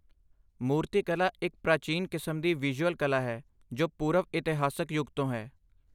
ਮੂਰਤੀ ਕਲਾ ਇੱਕ ਪ੍ਰਾਚੀਨ ਕਿਸਮ ਦੀ ਵਿਜ਼ੂਅਲ ਕਲਾ ਹੈ ਜੋ ਪੂਰਵ ਇਤਿਹਾਸਕ ਯੁੱਗ ਤੋਂ ਹੈ